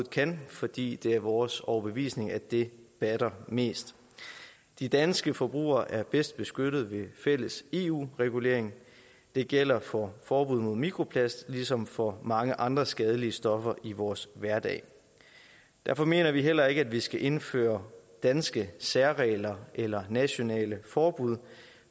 kan fordi det er vores overbevisning at det batter mest de danske forbrugere er bedst beskyttede med en fælles eu regulering det gælder for forbuddet mod mikroplast ligesom for mange andre skadelige stoffer i vores hverdag derfor mener vi heller ikke at vi skal indføre danske særregler eller nationale forbud